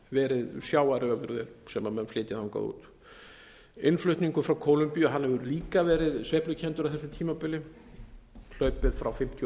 verið sjávarafurðir sem menn flytja þangað út innflutningur frá kólumbíu hefur líka verið sveiflukenndur á þessu tímabili hlaupið frá fimmtíu og